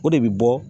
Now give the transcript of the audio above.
O de bɛ bɔ